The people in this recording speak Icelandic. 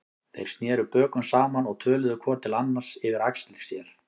Þeir sneru bökum saman og töluðu hvor til annars yfir axlir sér.